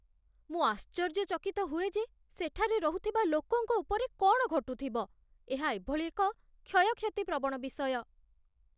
ମୁଁ ଆଶ୍ଚର୍ଯ୍ୟଚକିତ ହୁଏ ଯେ ସେଠାରେ ରହୁଥିବା ଲୋକଙ୍କ ଉପରେ କ'ଣ ଘଟୁଥିବ, ଏହା ଏଭଳି ଏକ କ୍ଷୟକ୍ଷତିପ୍ରବଣ ବିଷୟ !